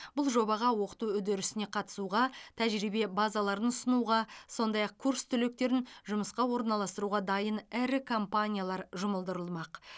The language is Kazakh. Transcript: бұл жобаға оқыту үдерісіне қатысуға тәжірибе базаларын ұсынуға сондай ақ курс түлектерін жұмысқа орналастыруға дайын ірі компаниялар жұмылдырылмақ